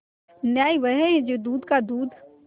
न्याय वह है जो दूध का दूध